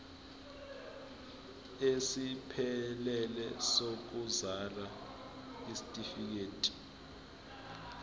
esiphelele sokuzalwa isitifikedi